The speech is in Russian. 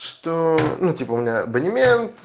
что ну типа у меня абонемент